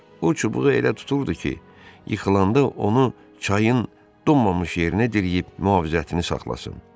O çubuğu elə tuturdu ki, yıxılanda onu çayın donmamış yerinə diriyib mühafizətini saxlasın.